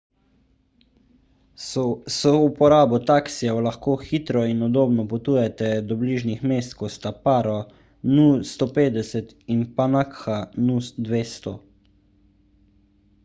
s souporabo taksijev lahko hitro in udobno potujete do bližnjih mest kot sta paro nu 150 in punakha nu 200